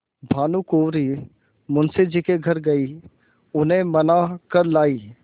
भानुकुँवरि मुंशी जी के घर गयी उन्हें मना कर लायीं